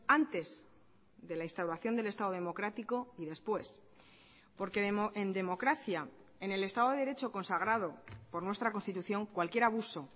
antes de la instauración del estado democrático y después porque en democracia en el estado de derecho consagrado por nuestra constitución cualquier abuso